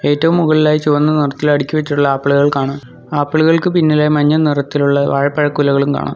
ഏറ്റവും മുകളിലായി ചുവന്ന നിറത്തിൽ അടുക്കി വെച്ചിട്ടുള്ള ആപ്പിളുകൾ കാണാം ആപ്പിളുകൾക്ക് പിന്നിലായി മഞ്ഞ നിറത്തിലുള്ള വാഴപ്പഴക്കുലകളും കാണാം.